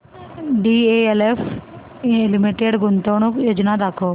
DLF limited गुंतवणूक योजना दाखव